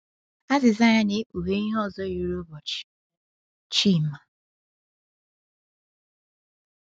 Azịza ya na-ekpughe ihe ọzọ yiri ụbọchị Chima.